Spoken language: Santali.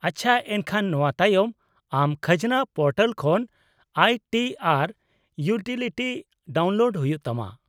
-ᱟᱪᱪᱷᱟ, ᱮᱱᱠᱷᱟᱱ ᱱᱚᱣᱟ ᱛᱟᱭᱚᱢ ᱟᱢ ᱠᱷᱟᱡᱽᱱᱟ ᱯᱳᱨᱴᱟᱞ ᱠᱷᱚᱱ I T R utility download ᱦᱩᱭᱩᱜ ᱛᱟᱢᱟ ᱾